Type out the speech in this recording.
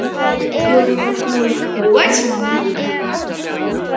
Bjórinn var búinn.